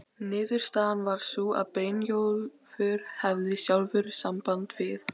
Niðurstaðan varð sú að Brynjólfur hefði sjálfur samband við